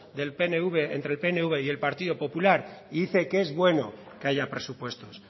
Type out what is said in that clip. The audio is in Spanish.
entre el pnv y el partido popular y dice que es bueno que haya presupuestos